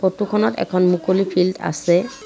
ফটোখনত এখন মুকলি ফিল্ড আছে।